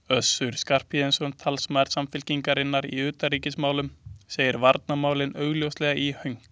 Össur Skarphéðinsson, talsmaður Samfylkingarinnar í utanríkismálum, segir varnarmálin augljóslega í hönk.